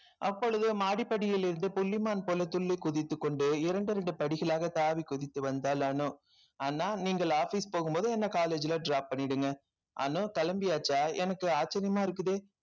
அப்பொழுது மாடிப்படியில் இருந்து புள்ளிமான் போல துள்ளி குதித்துக் கொண்டு இரண்டு இரண்டு படிகளாக தாவிக் குதித்து வந்தாள் அனு அண்ணா நீங்கள் office போகும்போது என்னை college ல drop பண்ணிடுங்க அண்ணா கிளம்பியாச்சா எனக்கு ஆச்சரியமா இருக்குது